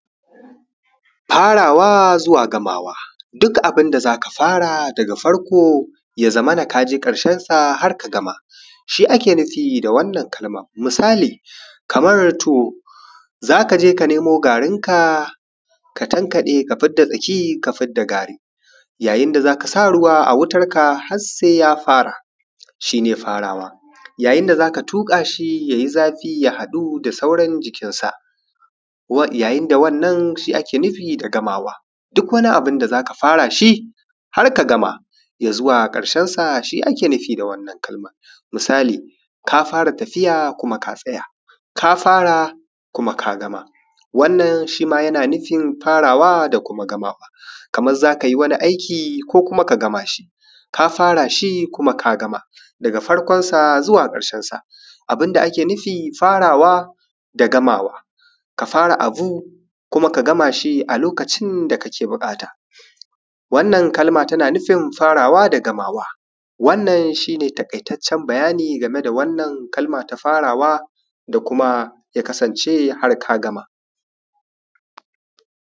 farawa zuwa gamawa duk abin da za ka fara daga farko ya zamana ka yi ƙarshensa har ka gama shi ake nufi da wannan kalmar misali kamar tuwo za ka je ka nemo garinka ka tankaɗe ka fidda tsaki ka fidda gari yayin da za ka sa ruwa a wutarka har sai ya fara shi ne farawa yayin da za ka tuƙa shi ya yi zafi ya haɗu da sauran jikinsa yayin da wannan shi ake nufi da gamawa duk wani abin da za ka fara shi har ka gama ya zuwa ƙarshensa shi ake nufi da wannan kalmar misali ka fara tafiya kuma ka tsaya ka fara kuma ka gama wannan shi ma yana nufin farawa da kuma gamawa kamar za ka yi wani aiki ko kuma ka gama shi ka fara shi kuma ka gama daga farkonsa zuwa ƙarshensa abin da ake nufi farawa da gamawa ka fara abu kuma ka gama shi lokacin da kake buƙata wannan kalma tana nufin farawa da gamawa wannan shi ne taƙaitaccen bayani game da wannan kalma ta farawa da kuma ya kasance har ka gama